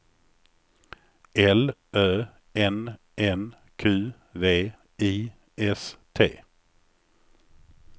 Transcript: L Ö N N Q V I S T